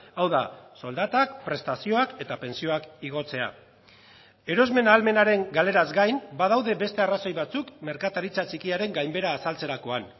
hau da soldatak prestazioak eta pentsioak igotzea erosmen ahalmenaren galeraz gain badaude beste arrazoi batzuk merkataritza txikiaren gainbehera azaltzerakoan